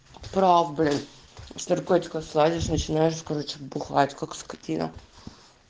прав блять с наркотиков слазишь сразу начинаешь бухать как скотина